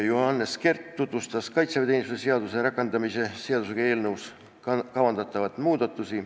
Johannes Kert tutvustas kaitseväeteenistuse seaduse rakendamise seaduse eelnõus kavandatavaid muudatusi.